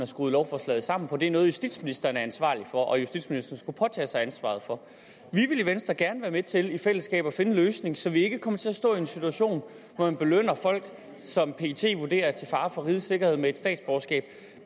skruet lovforslaget sammen på det er noget justitsministeren er ansvarlig for og som justitsministeren skulle påtage sig ansvaret for vi vil i venstre gerne være med til i fællesskab at finde en løsning så vi ikke kommer til at stå i en situation hvor man belønner folk som pet vurderer er til fare for rigets sikkerhed med et statsborgerskab